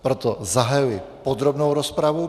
Proto zahajuji podrobnou rozpravu.